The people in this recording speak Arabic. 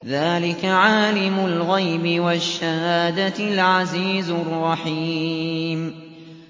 ذَٰلِكَ عَالِمُ الْغَيْبِ وَالشَّهَادَةِ الْعَزِيزُ الرَّحِيمُ